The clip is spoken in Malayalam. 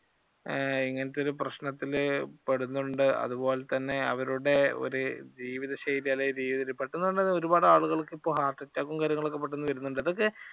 ഈ ഇങ്ങനത്തെ ഒരു പ്രശ്നത്തിൽ പെടുന്നുണ്ട്. അതുപോലെ തന്നെ അവരുടെ ഒരു ജീവിതശൈലി അല്ലേൽ ജീവിത രീതി ഒരുപാട് ആളുകൾക്ക് ഇപ്പോൾ heart attack ഉം കാര്യങ്ങളൊക്കെ പെട്ടെന്ന് വരുന്നുണ്ട്. ഇതൊക്കെ